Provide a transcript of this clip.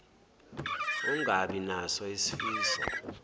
ungabi naso isifiso